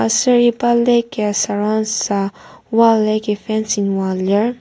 aser iba lake ya surround süa wall yagi fencing oa lir.